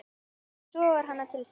Sogar hana til sín.